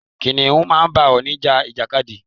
Kìnnìún máa ń bá ọ̀ọ̀nì ja ìjàkadì.